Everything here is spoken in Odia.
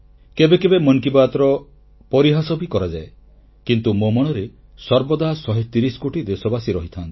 କେବେ କେବେ ମନ କି ବାତ୍ର ପରିହାସ ବି କରାଯାଏ କିନ୍ତୁ ମୋ ମନରେ ସର୍ବଦା 130 କୋଟି ଦେଶବାସୀ ରହିଥାନ୍ତି